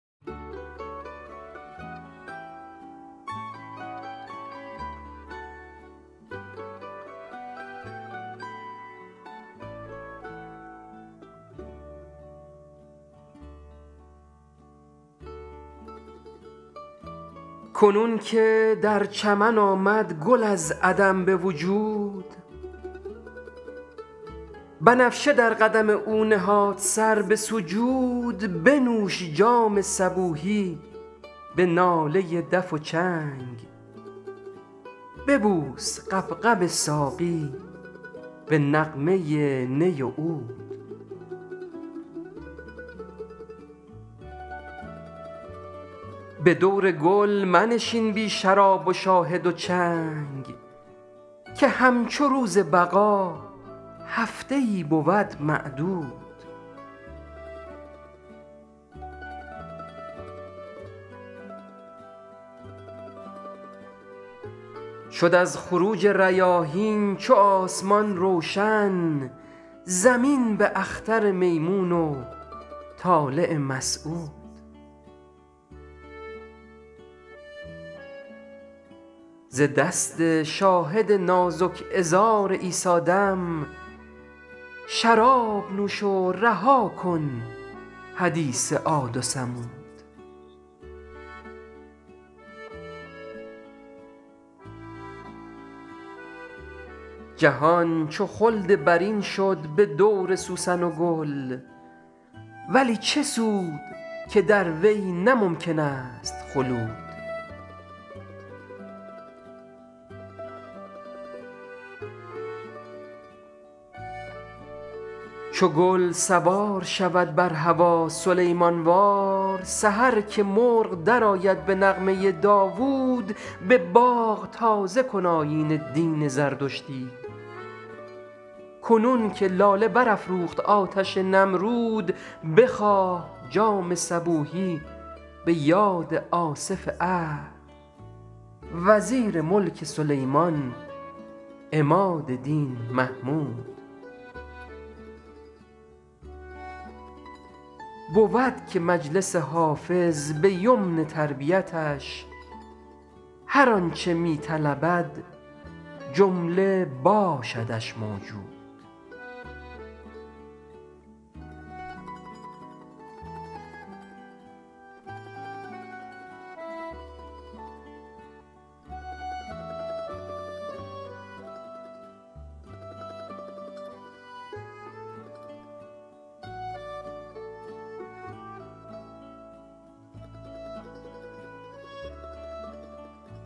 کنون که در چمن آمد گل از عدم به وجود بنفشه در قدم او نهاد سر به سجود بنوش جام صبوحی به ناله دف و چنگ ببوس غبغب ساقی به نغمه نی و عود به دور گل منشین بی شراب و شاهد و چنگ که همچو روز بقا هفته ای بود معدود شد از خروج ریاحین چو آسمان روشن زمین به اختر میمون و طالع مسعود ز دست شاهد نازک عذار عیسی دم شراب نوش و رها کن حدیث عاد و ثمود جهان چو خلد برین شد به دور سوسن و گل ولی چه سود که در وی نه ممکن است خلود چو گل سوار شود بر هوا سلیمان وار سحر که مرغ درآید به نغمه داوود به باغ تازه کن آیین دین زردشتی کنون که لاله برافروخت آتش نمرود بخواه جام صبوحی به یاد آصف عهد وزیر ملک سلیمان عماد دین محمود بود که مجلس حافظ به یمن تربیتش هر آن چه می طلبد جمله باشدش موجود